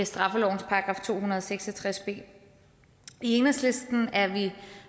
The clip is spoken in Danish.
straffelovens § to hundrede og seks og tres b i enhedslisten er vi